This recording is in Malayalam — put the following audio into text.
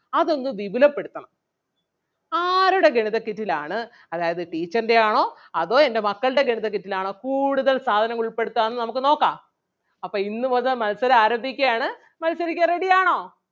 അതൊന്ന് വിപുലപ്പെടുത്തണം ആരുടെ ഗണിത kit ൽ ആണ് അതായത് teacher ൻ്റെ ആണോ അതോ എൻ്റെ മക്കൾടെ ഗണിത kit ൽ ആണോ കൂടുതൽ സാധനങ്ങൾ ഉൾപ്പെടുത്തുക എന്ന് നമുക്ക് നോക്കാം. അപ്പം ഇന്ന് മുതൽ മത്സരം ആരംഭിക്കുകയാണ്. മത്സരിക്കാൻ ready ആണോ?